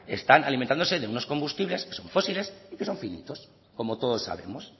están alimentándose de unos combustibles que son fósiles y que son finitos como todos sabemos